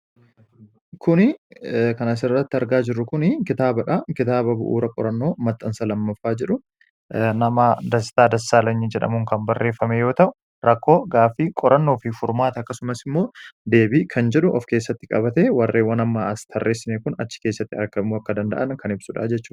kuni kan asirratti argaa jirru kun kitaabadha. kitaaba bu'uura qorannoo maxxansa lammaffaa jedhu nama Dastaa Dassaalanyi jedhamuu kan barreeffame yoo ta'u rakkoo gaafii qorannoo fi furmaati akkasumas immoo deebi kan jedhu of keessatti qabate warreewwan ammaa as tarressine kun achi keessatti argamuu akka danda'an kan hibsuudhaa jechu.